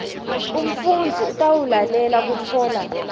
umfundzi utawulalela kutfola